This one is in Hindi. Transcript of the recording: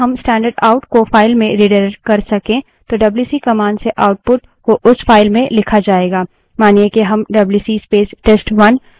लेकिन यदि हम standardout आउट stdout को file में redirect कर सके तो डब्ल्यूसी command से output को उस file में लिखा जायेगा